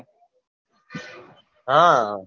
હા